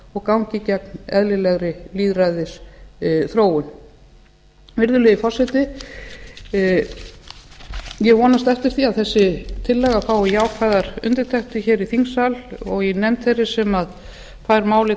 og gangi gegn eðlilegri lýðræðisþróun virðulegi forseti ég vonast eftir því að þessi tillaga fái jákvæðar undirtektir hér í þingsal og í nefnd þeirri sem fær málið